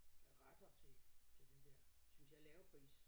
Øh retter til til den der synes jeg lave pris